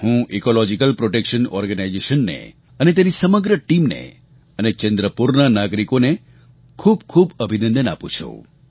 હું ecological protection ઑર્ગેનાઇઝેશને અને તેની સમગ્ર ટીમને અને ચંદ્રપુરના નાગરિકોને ખૂબ ખૂબ અભિનંદન પાઠવું છું